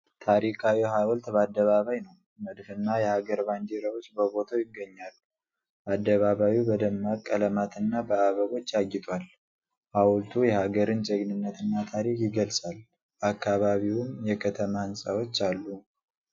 ታሪካዊ ሀውልት በአደባባይ ነው። መድፍና የሀገር ባንዲራዎች በቦታው ይገኛሉ። አደባባዩ በደማቅ ቀለማትና በአበቦች አጊጧል። ሀውልቱ የሀገርን ጀግንነትና ታሪክ ይገልጻል። በአካባቢውም የከተማ ሕንፃዎች አሉ።